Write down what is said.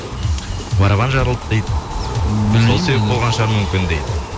барабан жарылды дейді білмеймін енді сол себеп болған мүмкін шығар дейді